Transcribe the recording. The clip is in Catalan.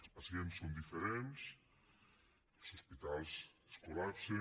els pacients són diferents els hospitals es col·lapsen